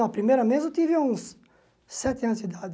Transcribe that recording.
Não, a primeira vez eu tive uns sete anos de idade.